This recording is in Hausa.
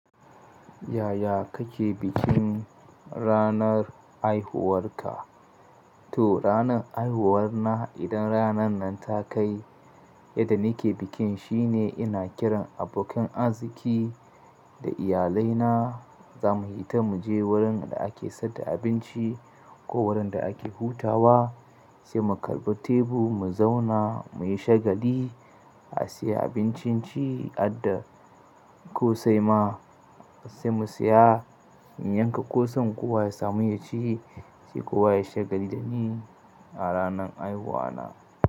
Yaya kake bikin ranar haihuwarka? To ranar haihuwarna idan ranar nan ta kai, yadda nike bikin shine ina kiran abokan arziki da iyalai na, zamu fita muje wurin da ake saida abinci ko wurin da ake hutawa, sai mu karɓa tebur mu zauna muyi shagali, a siya abincin ci adda ko sai ma sai mu siya in yanka kosan kowa ya samu yaci sai kowa yayi shagali dani a ranar haihuwa na.